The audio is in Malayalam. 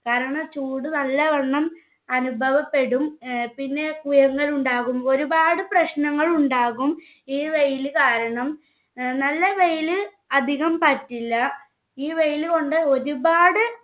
കാരണം ചൂട് നല്ലവണ്ണം അനുഭവപ്പെടും ഏർ പിന്നെ കുയങ്ങളുണ്ടാകും. ഒരുപാട് പ്രശ്നങ്ങൾ ഉണ്ടാകും. ഈ വെയില് കാരണം ഏർ നല്ല വെയില് അധികം പറ്റില്ല ഈ വെയില് കൊണ്ട് ഒരുപാട്